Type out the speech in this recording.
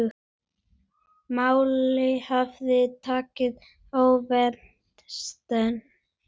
Málin höfðu tekið óvænta stefnu.